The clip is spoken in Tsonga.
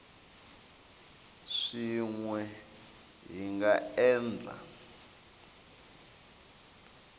swin we hi nga endla